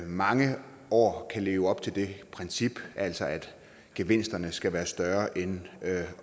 mange år kan leve op til det princip altså at gevinsterne skal være større end